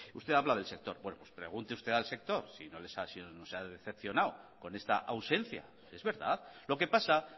usted habla del sector pues pregunte usted al sector si se ha decepcionada con esta ausencia es verdad lo que pasa